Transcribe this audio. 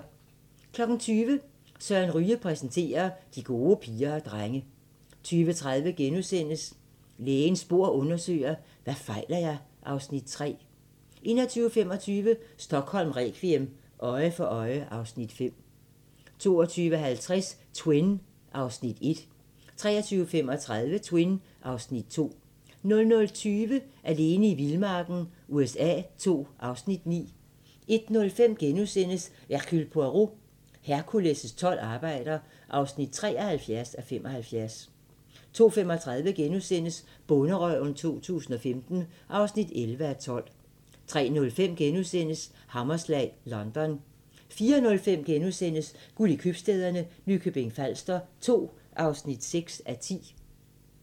20:00: Søren Ryge præsenterer – De gode piger og drenge 20:30: Lægens bord undersøger: Hvad fejler jeg? (Afs. 3) 21:25: Stockholm requiem: Øje for øje (Afs. 5) 22:50: Twin (Afs. 1) 23:35: Twin (Afs. 2) 00:20: Alene i vildmarken USA II (Afs. 9) 01:05: Hercule Poirot: Hercules' tolv arbejder (73:75)* 02:35: Bonderøven 2015 (11:12)* 03:05: Hammerslag: London * 04:05: Guld i købstæderne – Nykøbing Falster 2 (6:10)*